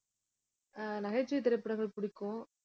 ஆஹ் நகைச்சுவைத் திரைப்படங்கள் பிடிக்கும்